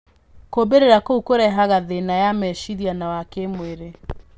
Kumbĩrĩra kũu kũrehaga thĩna ya meciria na wa kĩmwĩrĩ.